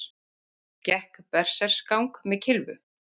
Gekk berserksgang með kylfu